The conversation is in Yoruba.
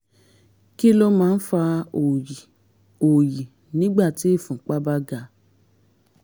kí ló máa ń fa òòyì òòyì nígbà tí ìfúnpá bá ga?